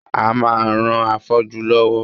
A máa ran afọ́jú lọ́wọ́